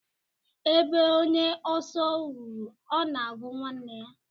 Ebe onye oso ruru, ona agu nwanne ya.